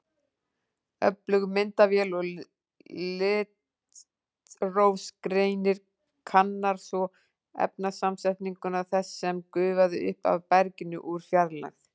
Öflug myndavél og litrófsgreinir kannar svo efnasamsetninguna þess sem gufaði upp af berginu úr fjarlægð.